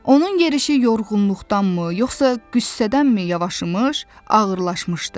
Onun yerişi yorğunluqdandımı, yoxsa qüssədənmi yavaşımış, ağırlaşmışdı?